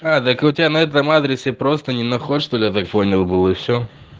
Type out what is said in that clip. у тебя на этом адресе просто не находит что я так понял был и все